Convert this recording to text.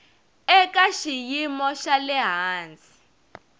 eka xiyimo xa le hansi